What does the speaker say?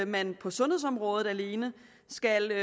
man på sundhedsområdet alene skal